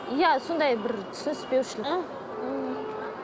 иә сондай бір түсініспеушілік